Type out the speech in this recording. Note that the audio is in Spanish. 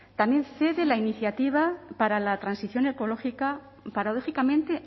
también cede la iniciativa para la transición ecológica paradójicamente